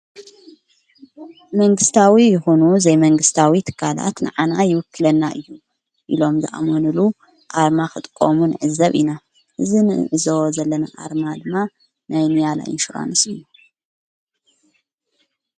መንግሥታዊ ይሁኑ ዘይመንግሥታዊ ትኻላት ንኣና ይውክለና እዩ ኢሎም ዝኣመኑሉ ኣርማ ኽጥቆሙን ዕዘብ ኢና እዝን እዝ ዘለመ ኣርማ ድማ ናይንያላይ ይንሽራንስ እዩ።